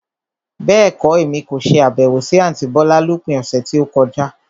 Bẹ́ẹ̀kọ́, Èmi kò ṣe Àbẹ̀wò sí àntí bọ́lá lópin ọ̀sẹ̀ tí ó kọjá.